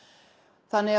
þannig að